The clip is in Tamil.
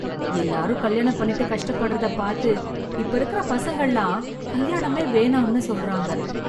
எலாரும் கல்யாணம் பண்ணிட்டு கஷ்ட படுறதா பாத்து இப்ப இருக்க பசங்களாம் கல்யாணமே வேணாம்னு சொல்றாங்க